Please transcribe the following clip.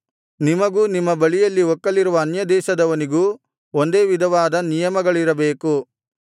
ನಿಮಗೂ ನಿಮ್ಮ ಬಳಿಯಲ್ಲಿ ಒಕ್ಕಲಿರುವ ಅನ್ಯದೇಶದವನಿಗೂ ಒಂದೇ ವಿಧವಾದ ನಿಯಮಗಳಿರಬೇಕು